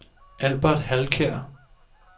Albert Halkjær